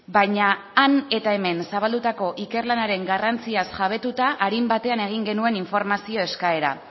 baina han eta hemen zabaldutako ikerlanaren garrantziaz jabetuta arin batean egin genuen informazio eskaera